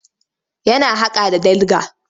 Yana haƙa da dIga.